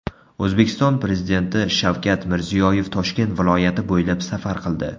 O‘zbekiston Prezidenti Shavkat Mirziyoyev Toshkent viloyati bo‘ylab safar qildi.